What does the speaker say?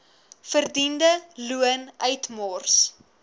verdiende loon uitmors